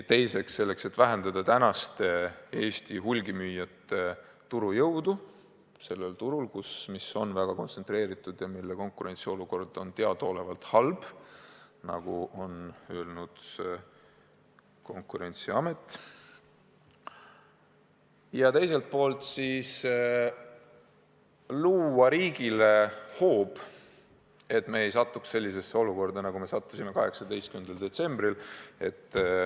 Teiseks me soovime vähendada Eesti hulgimüüjate jõudu turul, mis on väga kontsentreeritud ja mille konkurentsiolukord on teadaolevalt halb, nagu on öelnud ka Konkurentsiamet, ja teiselt poolt luua riigile hoova, et me ei satuks sellisesse olukorda, nagu me sattusime 18. detsembril.